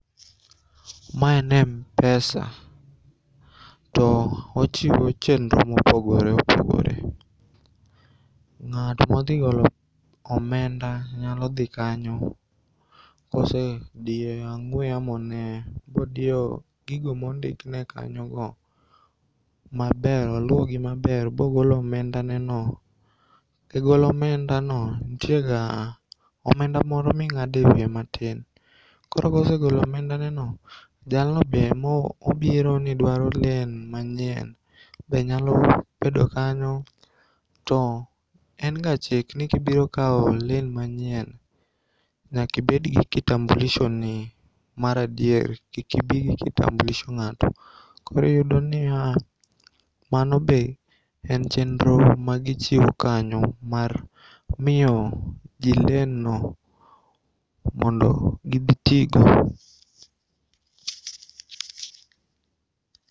Ma en mpesa. Toochiwo chenro mopogore opogore. Ng'at modhigolo omenda nyadhi kanyo kosedio ang'ue yamone ba odio gigo mondikne kanyogo maber, oluogi maber bogolo omenda neno.E golo omendano ntiega omenda moro ming'ade wiye matin koro kosegolo omendaneno, jalnobe be mobironi dwaro len manyien be nyalo bedo kanyo to enga chik nikibiro kao len manyien nyakibedgi kitambulisho ni mar adier. Kik ibii gi kitambulisho ng'ato. Koro iyudo niya manobe en chenro magichiwo kanyo mar miyo jii lenno mondo gidhitigo.